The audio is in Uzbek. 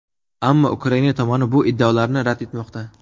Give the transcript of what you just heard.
Ammo Ukraina tomoni bu iddaolarni rad etmoqda.